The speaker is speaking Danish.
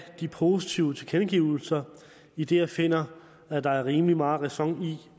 de positive tilkendegivelser idet jeg finder at der er rimelig meget ræson i